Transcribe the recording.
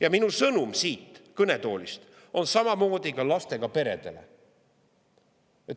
Ja minu sõnum siit kõnetoolist on samamoodi lastega peredele.